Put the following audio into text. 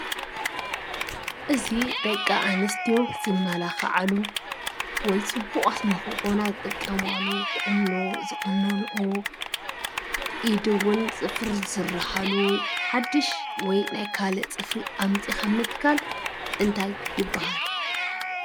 እዚ ደቂ ኣነስትዮ ዝመላኻዓሉ ወይ ፅቡቓት ንኽኾና ዝጥቀማሉ ቁኖ ዝቑነንኦ ኢድ ውን ፅፍሪ ዝስርሓሉ ሓዱሽ ወይ ናይ ካልእ ፅፍሪ ኣምፂኻ ምትካል እንታይ ይበሃል?